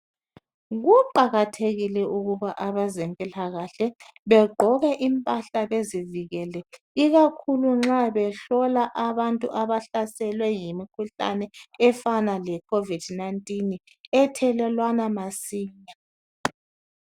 Kuqakathekile ukuba abezempilakahle begqoke impahle bezivikele ikakhulu nxa behlola abantu abahlaselwe yimikhuhlane efana lekhovidi nayintini ethelelwana masinya.